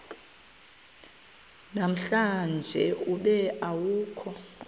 namhlanje ube awukho